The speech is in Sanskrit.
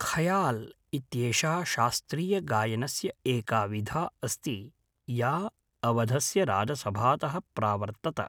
ख़याल् इत्येषा शास्त्रीयगायनस्य एका विधा अस्ति या अवधस्य राजसभातः प्रावर्तत।